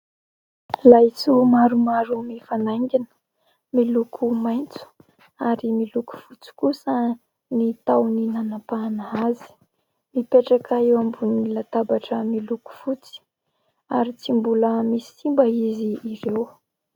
Laisoa maromaro mifanaingina. Miloko maitso ary miloko fotsy kosa ny tahony nanapahana azy. Mipetraka eo ambonin'ny latabatra miloko fotsy ary tsy mbola misy simba izy ireo.